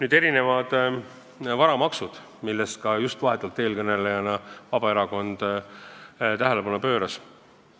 Nüüd varamaksud, millele ka eelkõneleja Vabaerakonnast äsja tähelepanu pööras.